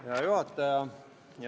Hea juhataja!